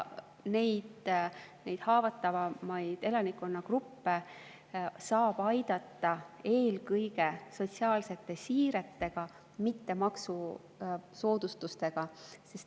Neid haavatavamaid elanikkonnagruppe saab aidata eelkõige sotsiaalsete siiretega, mitte maksusoodustustega.